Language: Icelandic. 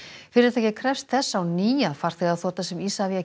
fyrirtækið krefst þess á ný að farþegaþota sem Isavia